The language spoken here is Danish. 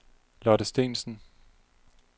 Lotte Steensen